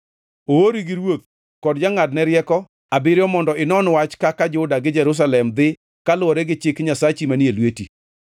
Oori gi ruoth kod jongʼadne rieko abiriyo mondo inon wach kaka Juda gi Jerusalem dhi kaluwore gi chik Nyasachi manie lweti.